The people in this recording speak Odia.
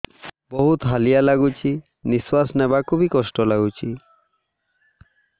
ବହୁତ୍ ହାଲିଆ ଲାଗୁଚି ନିଃଶ୍ବାସ ନେବାକୁ ଵି କଷ୍ଟ ଲାଗୁଚି